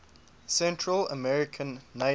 central american neighbors